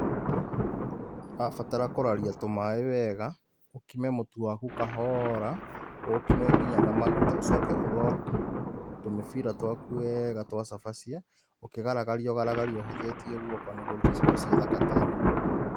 Ũrabatara kũraria tũmaĩ wega, ũkime mũtu waku kahora, ũũkime nginya na maguta, ũcoke ũ roll tũmĩbira twaku wega twa cabaci, ũkĩgaragaria ũgaragarie ũhũthĩtie guoko nĩguo ũrũte cabaci thaka ta ĩno.